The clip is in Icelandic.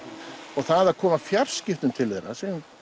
og það að koma fjarskiptabúnaði til þeirra